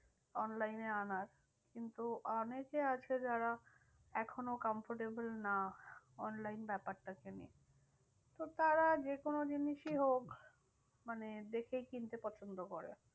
Online এ আনার। কিন্তু অনেকে আছে যারা এখনও comfortable না online ব্যাপারটার জন্য। তো তারা যেকোনো জিনিসই হোক মানে দেখেই কিনতে পছন্দ করে।